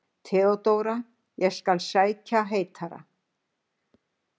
THEODÓRA: Ég skal sækja heitara.